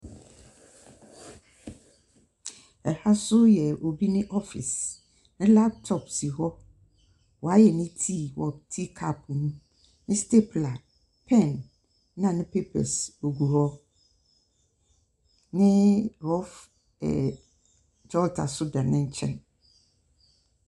Ha so yɛ obi ne office, ne laptop si hɔ, ɔayɛ ne tsii wɔ teacup mu, ne stapler, pen na ne papers wogu hɔ, ne rough ɛɛ jotter so da ne nkyɛn.